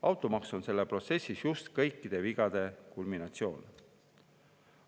Automaks on selles protsessis just kõikide vigade kulminatsioon.